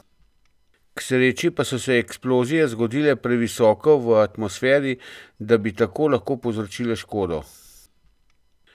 K sreči pa so se eksplozije zgodile previsoko v atmosferi, da bi tako lahko povzročile škodo.